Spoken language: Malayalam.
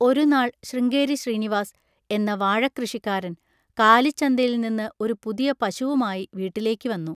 ഒരുനാൾ ശൃംഗേരി ശ്രീനിവാസ് എന്ന വാഴക്കൃഷിക്കാരൻ കാലിച്ചന്തയിൽനിന്ന് ഒരു പുതിയ പശുവുമായി വീട്ടിലേക്ക് വന്നു.